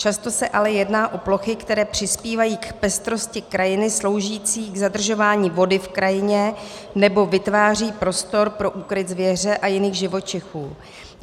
Často se ale jedná o plochy, které přispívají k pestrosti krajiny, slouží k zadržování vody v krajině nebo vytvářejí prostor pro úkryt zvěře a jiných živočichů.